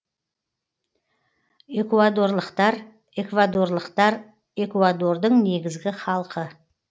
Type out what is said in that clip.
экуадорлықтар эквадорлықтар экуадордың негізгі халқы